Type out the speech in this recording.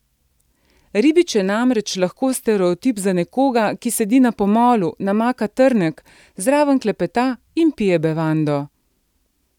Ribič je namreč lahko stereotip za nekoga, ki sedi na pomolu, namaka trnek, zraven klepeta in pije bevando.